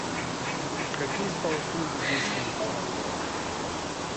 какие спа услуги здесь есть